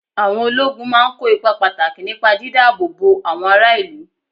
Àwọn ológun máa ń kó ipa pàtàkì nípa dídá-ààbò-bo àwọn ará ìlú.